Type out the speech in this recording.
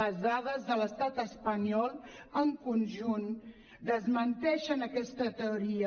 les dades de l’estat espanyol en conjunt desmenteixen aquesta teoria